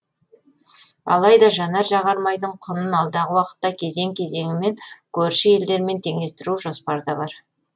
алайда жанар жағар майдың құнын алдағы уақытта кезең кезеңімен көрші елдермен теңестіру жоспарда бар